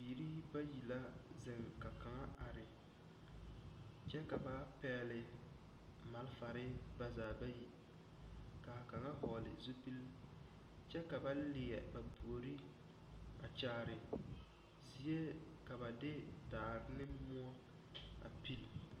Bibiiri bayi la zeŋ ka kaŋa are kyɛ ka ba pɛgle malfare ba zaa bayi ka a kaŋa vɔgle zupili kyɛ ka ba leɛ ba puori a kyaare zie ka ba de daare ne moɔ.